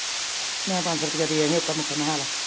ਮੈ ਪੰਜਸੋ ਰੁਪਈਆ ਦੇ ਦੇਈ ਆ ਉਕਰ ਨੁਕਰ ਨੇਹਾਲਾ।